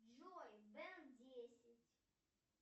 джой бен десять